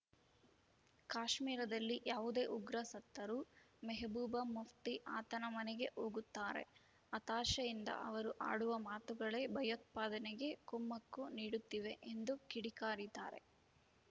ಕಾಶ್ಮೀರದಲ್ಲಿ ಯಾವುದೇ ಉಗ್ರ ಸತ್ತರೂ ಮೆಹಬೂಬಾ ಮುಫ್ತಿ ಆತನ ಮನೆಗೆ ಹೋಗುತ್ತಾರೆ ಹತಾಶೆಯಿಂದ ಅವರು ಆಡುವ ಮಾತುಗಳೇ ಭಯೋತ್ಪಾದನೆಗೆ ಕುಮ್ಮಕ್ಕು ನೀಡುತ್ತಿವೆ ಎಂದು ಕಿಡಿಕಾರಿದ್ದಾರೆ